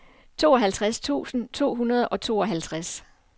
tooghalvtreds tusind to hundrede og tooghalvtreds